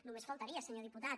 només faltaria senyor diputat